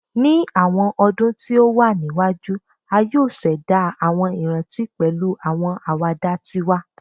Ni awọn ọdun ti o wa niwaju, a yoo ṣẹda awọn iranti pẹlu awọn awada twa